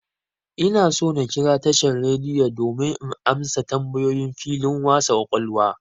Ina so na kira tashan'r rediyo domin in amsa tambayoyin filin wasa ƙwaƙwalwa.